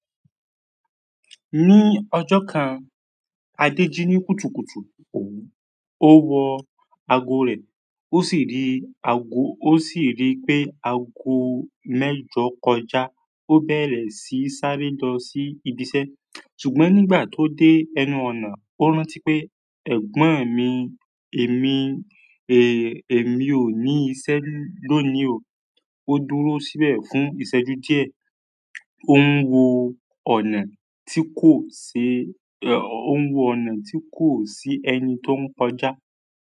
Ní ọjọ́ kan, Adé jí ní kùtùkùtù, òun ó wọ ago rẹ̀, ó sì rí ago-- ó sì rí pé ago mẹ́jọ kọjá. Ó bẹ̀rẹ̀ sí sáré lọ sí ibi iṣẹ́ ṣùgbọ́n nígbà tó dé ẹnu ọ̀nà, ó rántí pé ẹ̀gbọ́n ẹ̀ mi, èmi, e èmi ò ní iṣẹ́ lónìí o. Ó dúró síbẹ̀ fún ìṣẹ́jú díẹ̀, ó ń wo ọ̀nà tí kò ṣe, e ó ń wo ọ̀nà tí kò sí ẹni tó ń kọjá.